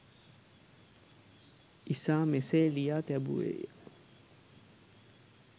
ඉසා මෙසේ ලියා තැබුවේය